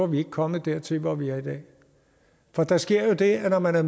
vi ikke kommet dertil hvor vi er i dag for der sker jo det at når man er